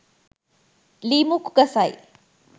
ලී මුක්කු ගසයි